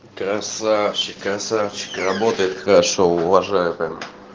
красавчик красавчик работает хорошо уважаю прям